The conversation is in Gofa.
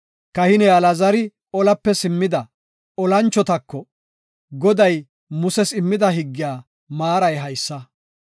Kahiney Alaazari olape simmida olanchotako, “Goday Muses immida higgiya maaray haysa;